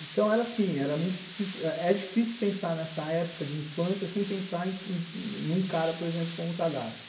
Então, era assim, era muito difícil, é difícil pensar nessa época de infância sem pensar em um cara, por exemplo, como o Tadashi.